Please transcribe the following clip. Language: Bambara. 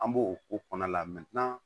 An b'o ko kɔnɔ la